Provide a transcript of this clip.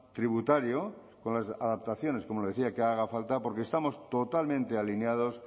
tributario con las adaptaciones como le decía que hagan faltan porque estamos totalmente alineados